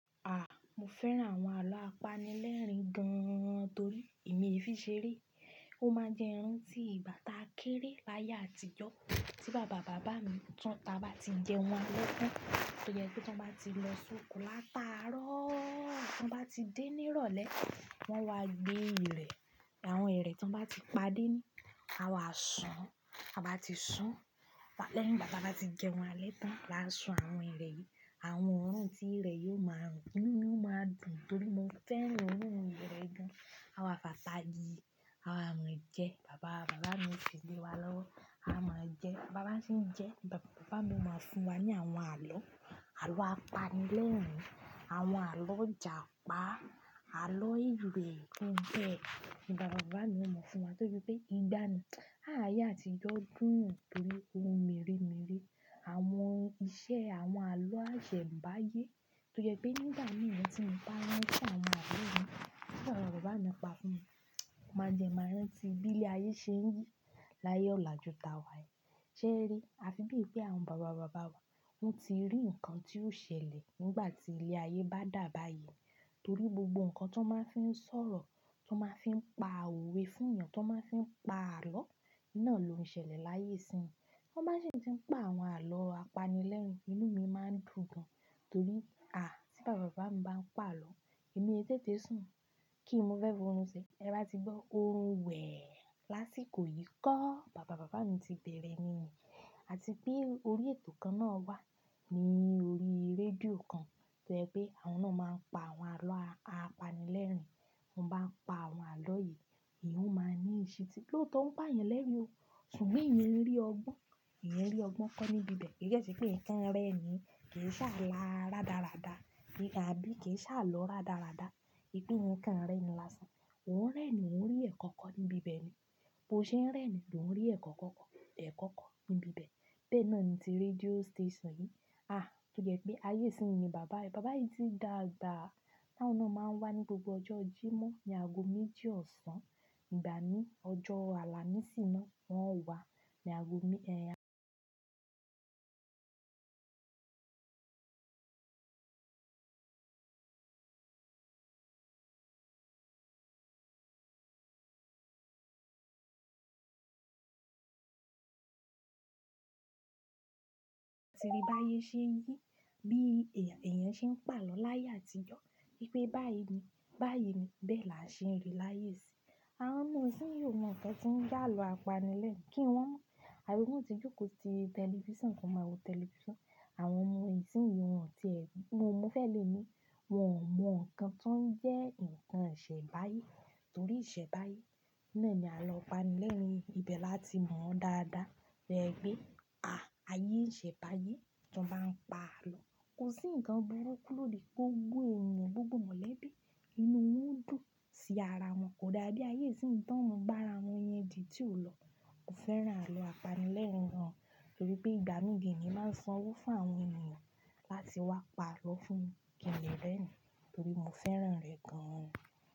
À, mo fẹ́ran àwọn àlọ́ apanilẹ́rìn gan torí èmi ẹ fi ṣeré. Ó máa ń jẹ́ ranti ìgbà táa kéré láyé àtijọ́ tí bàbá bàbá mi tán táa bá ti jẹun alẹ́ tán. Toyẹ pé tí wọ́n bá ti lọ sọkọ làtaárọ̀, tí wọ́n bá ti dé ní ìrọ̀lẹ́, wọ́n wá gbé ìrẹ̀. Àwọn ìrẹ̀ tí wọ́n bá ti pàdé ni, a wàásùn. A bá ti sùn, lẹ́yìn igbá ta bá ti jẹun alẹ́ tán, là ń sùn àwọn ìrẹ̀ yìí. Àwọn oorun tí ìrẹ̀ yóò máa rùn, inú mi ó máa dùn torí mo fẹ́ran oorun ìrẹ̀ gan-an. A wàá fàtàyi, a wa máa jẹ. Bàbá bàbá mi ó fi lé wa lọ́wọ́. A máa ń jẹ. Bàbá bá se ń jẹ, bàbá bàbá mi ó máa fún wa ní àwọn àlọ́, àlọ́ apanilẹ́rìn, àwọn àlọ́ Ìjàpá, àlọ́ ìrẹ̀ tó ń bẹ. Ni bàbá bàbá mi ó mọ̀ fún wa de bi pé nìgbána. Ah, ayé àtijọ́ dùn torí ohun meere meere. Àwọn iṣẹ́ àwọn àlọ́ àṣẹ bàáyé. Torí jẹ pé nígbà mìíràn tí mo bá rán fún àwọn àlọ́ yìí, tí bàbá bàbá mi bá pa fún mi, máa jẹ máa rán tí bílẹ̀ ayé ṣe ń jí láyé ọ̀la ju tàwà ẹ. Sẹ́ ẹ rí, a fi bí i pé àwọn bàbá bàbá wa wọ́n ti rí nǹkan tí yóò ṣẹlẹ̀ nígbà tí ilẹ̀ ayé bá dàbàáyé. Torí gbogbo nǹkan tí wọ́n máa ń fi ń sọ̀rọ̀, tí wọ́n máa ń fi ń pa òwe fún ènìyàn, tí wọ́n máa ń fi ń pa àlọ́, iná ló ń ṣẹlẹ̀ láyé ìsín. Wọ́n bá ṣi tí ń pa àwọn àlọ́ apanilẹ́rìn, inú mi máa ń dùn gan-an torí à, tí bàbá bàbá mi bá ń pa àlọ́, èmi ẹ tètè sùn kí n mo fe fi oorun ṣe. Ti e bá ti gbọ́ orun wẹ̀ lásìkò yìí kó. Bàbá bàbá mi ti bẹ̀rẹ̀ nínì. Àti pé orí ètò kan náà wà ní orí rédíò kan torí ẹ pé àwọn náà máa ń pa àwọn àlọ́ apanilẹ́rìn. Wọ́n bá ń pa àwọn àlọ́ yìí, ìhun máa ní ìṣítí. Lóo tó ouń pa yan lẹ́rìn o. Ṣùgbọ́n ìyẹn rí ọgbọ́n. Eeyan rí ọgbọ́n kọ́ níbi bẹ̀. Kò kan sé pé eeyan nǹkan rẹ́rin. Kì í ṣe ala rádarada. Ni àbí kì í ṣe alọ rádarada. Se pe eeyan nǹkan rẹ́rin lásán. Mo oun rẹ́rin mo òun rí ẹ̀kọ́ kọ́ níbi bẹ̀ ni. Bo ṣe ń rẹ́ ni, ló ń rí ẹ̀kọ́ kọ́kọ́, ẹ̀kọ́ kọ́ níbi bẹ̀. Bẹ́ẹ̀ náà ni ti rédíò station yìí. Àh, tojí wipe ayé ìsín ni bàbá yi. Bàbá yìí ti dàgbà. Tu awon náà máa ń wá ní gbogbo ọjọ́ Jímọ̀ ní ago méjì ọ̀sán. Ìgbà mí, ọjọ́ Àlàmísì náà, wọn o wá ní ago méẹ̀. Ti rí bá ayé ṣe yìí, bí èèyàn ṣe ń pa àlọ́ láyé àtijọ́. Wípé báyìí ni, báyìí ni, bẹ́ẹ̀ la ṣe ń rí láyé ìsín. Àwọn ọmọ ìsín ò mọ̀ nǹkan tí ń je alọ apanilẹ́rìn. Kí wọn mọ̀? Àbí wọn ti jókòó ti tẹlifíṣàn kan máa wo tẹlifíṣàn. Àwọn ọmọ ìsín yìí, wọn tí èmi, mo mọ fẹ́ lè mi, wọn ò mọ̀ nǹkan tí ó ń jẹ́ nǹkan ìṣenbáye. Torí ìṣe báyìí, iná ni àlọ́ apanilẹ́rìn. Ìbẹ̀ là ti mọ̀ ọ́n dáadáa. To wi pe àayé ìṣe báyìí tí wọ́n bá ń pa àlọ́, kò sí nǹkan burúkú lòdì kí gbogbo ènìyàn, gbogbo mọ̀lẹ́bí, inú wọn dùn sí ara wọn. Kò dáa bí ayé ìsín tí àwọn ọmọ bá ara wọn yan odi tí ò lọ. Mo fẹ́ran àlọ́ apanilẹ́rìn gan-an torí pé ìgbà mí gan emi màá ń sanwó fún àwọn ènìyàn láti wá pa àlọ́ fún mi. Kí n lè rẹ́ ni torí mo fẹ́ran rẹ̀ gan-an.